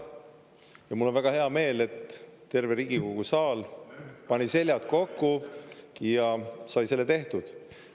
Ja mul on väga hea meel, et terve Riigikogu saal pani seljad kokku ja sai selle tehtud.